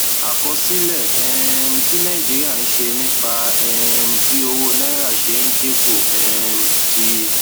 àkọsílẹ um tí nàìjíríà ń ṣe nípa um bí owó naira ṣe ń dín kù um ti